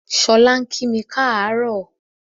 Ṣọlá ń kími káàárọ̀